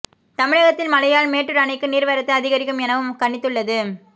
தமிழகத்தில் மழையால் மேட்டூர் அணைக்கு நீர் வரத்து அதிகரிக்கும் எனவும் கணித்துள்ளது